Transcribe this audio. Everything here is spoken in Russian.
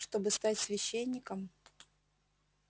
чтобы стать священником